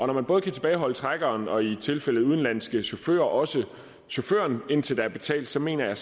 når man både kan tilbageholde trækkeren og i tilfælde af udenlandske chauffører også chaufføren indtil der er betalt så mener jeg